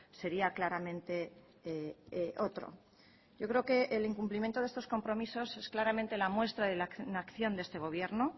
sería claramente otro yo creo que el incumplimiento de estos compromisos es claramente la muestra de la inacción de este gobierno